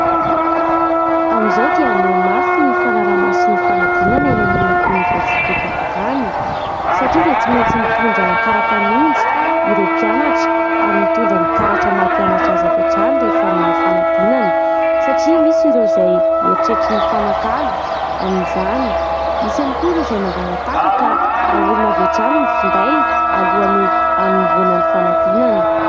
Amin'izao dia mihamafy ny fanaraha-mason'ny fanadinana eny amin'ny oniversitem-panjakana satria dia tsy maintsy mitondra kara-panondro ireo mpianatra ary mitondra ny karatra maha mpianatra azy avy hatrany rehefa manao fanadinana satria misy ireo izay mieritreritra ny hifanakalo amin'izany. Misy ihany koa ireo izay mangala-tahaka ka ahorona avy hatrany ny finday alohany hanomboana ny fanadinana.